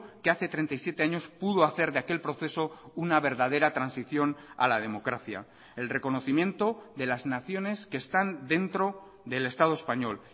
que hace treinta y siete años pudo hacer de aquel proceso una verdadera transición a la democracia el reconocimiento de las naciones que están dentro del estado español